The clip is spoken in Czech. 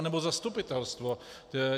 Anebo zastupitelstvo...